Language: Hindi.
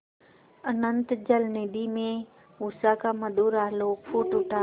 अनंत जलनिधि में उषा का मधुर आलोक फूट उठा